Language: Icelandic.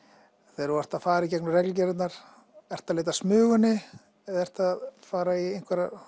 þegar þú ert að fara í gegnum reglugerðirnar ertu að leita að Smugunni eða ertu að fara í